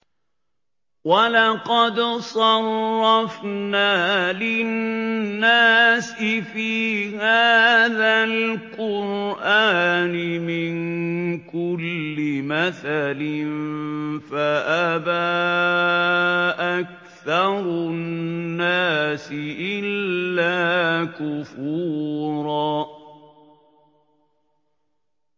وَلَقَدْ صَرَّفْنَا لِلنَّاسِ فِي هَٰذَا الْقُرْآنِ مِن كُلِّ مَثَلٍ فَأَبَىٰ أَكْثَرُ النَّاسِ إِلَّا كُفُورًا